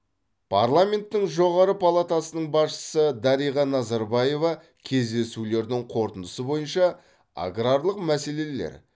парламенттің жоғарғы палатасының басшысы дариға назарбаева кездесулердің қорытындысы бойынша аграрлық мәселелер